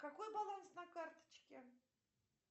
какой баланс на карточке